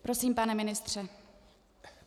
Prosím, pane ministře.